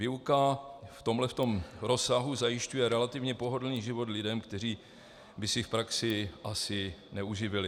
Výuka v tomto rozsahu zajišťuje relativně pohodlný život lidem, kteří by se v praxi asi neuživili.